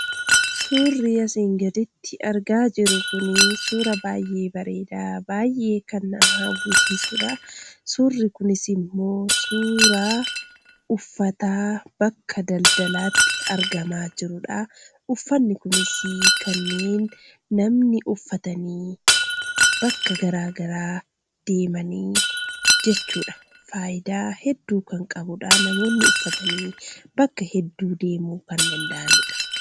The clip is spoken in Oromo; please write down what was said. Suurri asiin gaditti argaa jirru kun suuraa baay'ee bareeda, baay'ee kan nama hawwisiisuudha. Suurri kunis immo suuraa uffata bakka daldalaatti argamaa jiruudha. Uffanni kunis kanneen namni uffatanii bakka garaagaraa deemanidha.